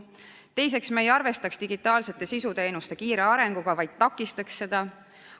Teiseks, me ei arvestaks digitaalsete sisuteenuste kiire arenguga, vaid takistaks seda.